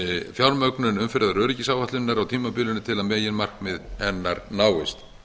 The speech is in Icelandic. fjármögnun umferðaröryggisáætlunar á tímabilinu til að meginmarkmið hennar náist